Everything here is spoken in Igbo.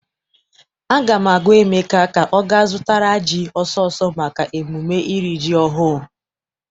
Aga m agwa Emeka ka ọ ga zụtara ji ọsọ ọsọ maka emume iri ji ọhụụ!